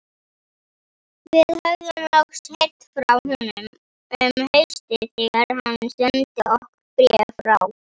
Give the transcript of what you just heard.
Við höfðum loks heyrt frá honum um haustið þegar hann sendi okkur bréf frá